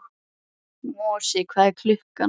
Mosi, hvað er klukkan?